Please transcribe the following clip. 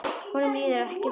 Honum líður ekki vel núna.